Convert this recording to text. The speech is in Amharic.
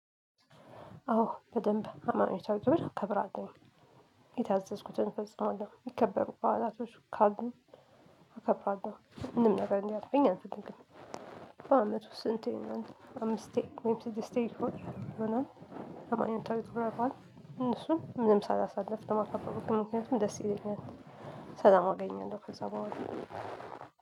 አዎ በደንብ ሃይማኖታዊ ግብር አከብራለሁ የታዘዝኩትን ፈጽማለሁ ሚከበሩ በኋላቶች ካሉ አከብራለሁ ምንም ነገር እንዲያልፈኝ አልፈልግም። በአመት ውስጥ ስንት ይሆነል አምስቴ ወይም ስድስቴ ሆን ይሆናል? ሃይማኖታዊ ክብረ በዓል እነሱን ምንም ሳላሳልፍ ነው ማከብረው በቃ ምክንያቱም ደስ ይለኛል። ሰላም አገኘለው ከዛ በኋላ